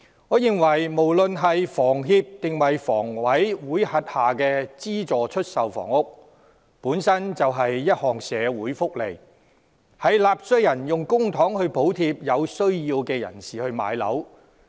我認為，無論是香港房屋協會或香港房屋委員會轄下的資助出售房屋，本身便是一項社會福利，是納稅人用公帑補貼有需要人士買樓。